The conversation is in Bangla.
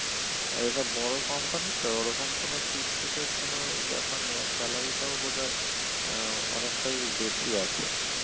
এটা বড়ো company তো ওরকম কোনো chit ফিট এর কোনো ব্যাপার নেই আর salary টাও বোধয় আহ অনেকটাই বেশি আছে